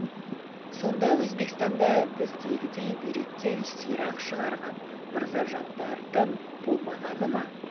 сонда өзбекстанда біздегідей бүйректен сирақ шығарған мырзажандардың болмағаны ма